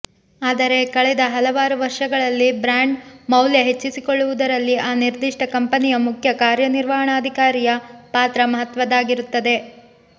ಆದರೆ ಕಳೆದ ಹಲವಾರು ವರ್ಷಗಳಲ್ಲಿ ಬ್ರಾಂಡ್ ಮೌಲ್ಯ ಹೆಚ್ಚಿಸಿಕೊಳ್ಳುವುದರಲ್ಲಿ ಆ ನಿರ್ದಿಷ್ಟ ಕಂಪನಿಯ ಮುಖ್ಯ ಕಾರ್ಯನಿರ್ವಹಣಾಧಿಕಾರಿಯ ಪಾತ್ರ ಮಹತ್ವದ್ದಾಗಿರುತ್ತದೆ